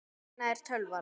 Hérna er tölvan.